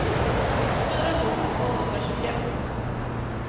tjugofyra tusen tvåhundratjugoett